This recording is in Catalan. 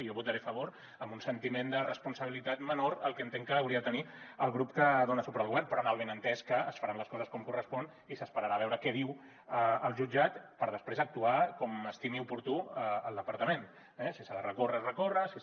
jo votaré a favor amb un sentiment de responsabilitat menor al que entenc que hauria de tenir el grup que dona suport al govern però amb el benentès que es faran les coses com correspon i s’esperarà a veure què diu el jutjat per després actuar com estimi oportú el departament eh si s’ha de recórrer recórrer si es